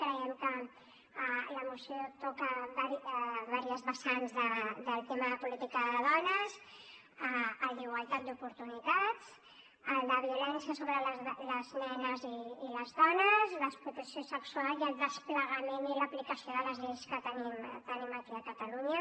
creiem que la moció toca diverses vessants del tema de política de dones el d’igualtat d’oportunitats el de violència sobre les nenes i les dones l’explotació sexual i el desplegament i l’aplicació de les lleis que tenim aquí a catalunya